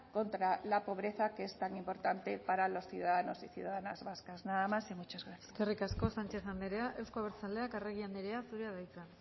contra la pobreza que es tan importante para los ciudadanos y ciudadanas vascas nada más y muchas gracias eskerrik asko sánchez andrea euzko abertzaleak arregi andrea zurea da hitza